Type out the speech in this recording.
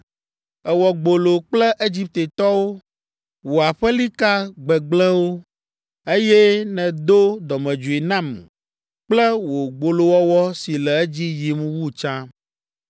Èwɔ gbolo kple Egiptetɔwo, wò aƒelika gbegblẽwo, eye nèdo dɔmedzoe nam kple wò gbolowɔwɔ si le edzi yim wu tsã.